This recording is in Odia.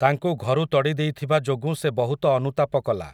ତାଙ୍କୁ ଘରୁ ତଡ଼ିଦେଇଥିବା ଯୋଗୁଁ ସେ ବହୁତ ଅନୁତାପ କଲା ।